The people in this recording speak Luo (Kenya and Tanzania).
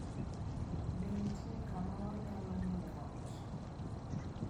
Be nitie kama wanyalo ng'iewo ot?